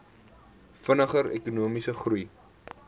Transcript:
vinniger ekonomiese groei